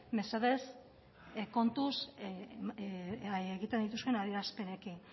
mesedez kontuz egin dituzuen adierazpenekin